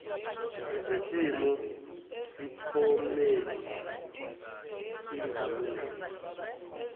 lesimiso sephomedi ingamiswa